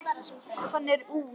Hann er úr